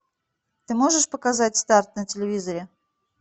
ты можешь показать старт на телевизоре